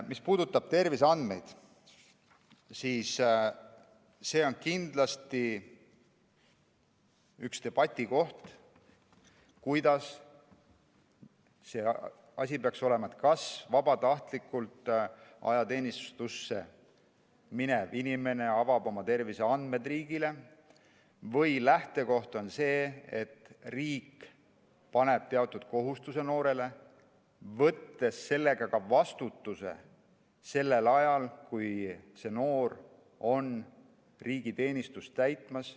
Mis puudutab terviseandmeid, siis see on kindlasti üks debatikohti, kuidas see asi peaks olema, kas vabatahtlikult ajateenistusse minev inimene avab oma terviseandmed riigile või on lähtekoht see, et riik paneb noorele teatud kohustusi, võttes sellega ka vastutuse sellel ajal, kui see noor on riigi teenistuses.